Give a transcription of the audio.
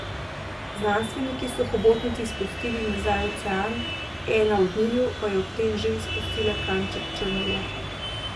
Znanstveniki so hobotnici izpustili nazaj v ocean, ena od njiju pa je ob tem že spustila kanček črnila.